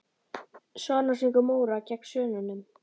Svanasöngur Móra gegn Svönunum?